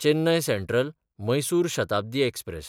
Chennai सँट्रल–मैसूर Shatabdi express